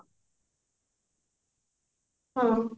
ହଁ